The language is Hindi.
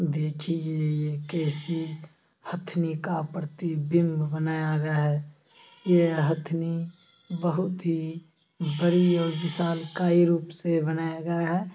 देखिये ये कैसी हथिनी का प्रतिबिम्ब बनाया गया है ये हथिनी बहुत ही बड़ी और विशालकाय रूप से बनाया गया है।